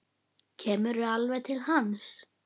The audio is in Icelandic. Kemur alveg til hans.